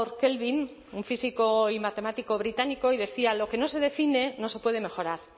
kelvin un físico y matemático británico y decía lo que no se define no se puede mejorar